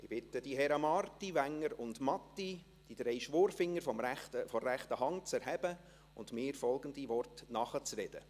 Wenn Sie darauf geachtet haben, ist Meret Schindler, der ich vorhin gratuliert habe, mittlerweile auf der Besuchertribüne.